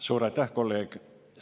Suur aitäh, kolleeg!